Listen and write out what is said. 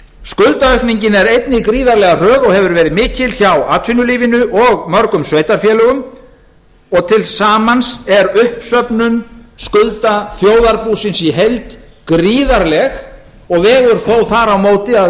skuldaaukningin er einnig gríðarlega hröð og hefur verið mikil hjá atvinnulífinu og mörgum sveitarfélögum og til samans er uppsöfnun skulda þjóðarbúsins í heild gríðarleg og vegur þó þar á móti að